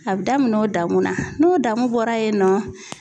A bi daminɛ o damuna n'o damu bɔra yen nɔ